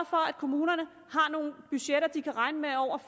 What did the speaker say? for at kommunerne har nogle budgetter de kan regne med over